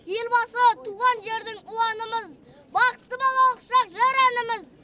елбасы туған жердің ұланымыз бақытты балалық шақ жыр әніміз